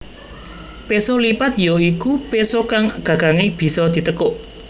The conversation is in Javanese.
Péso lipat ya iku péso kang gagangé bisa ditekuk